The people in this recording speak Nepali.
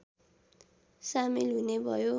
सामेल हुने भयो